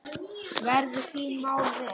Verðu þín mál vel.